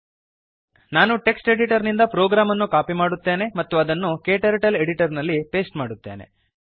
ನಾನು text editor ನಿಂದ program ಅನ್ನು ಕಾಪಿ ಮಾಡುತ್ತೇನೆ ಮತ್ತು ಅದನ್ನು ಕ್ಟರ್ಟಲ್ Editorನಲ್ಲಿ ಪೇಸ್ಟ್ ಮಾಡುತ್ತೇನೆ